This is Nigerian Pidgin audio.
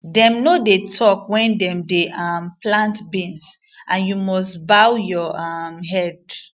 dem no dey talk when dem dey um plant beans and you must bow your um head